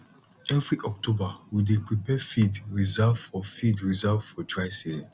every october we dey prepare feed reserve for feed reserve for dry season